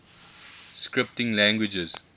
scripting languages